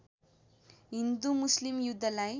हिन्दु मुस्लिम युद्धलाई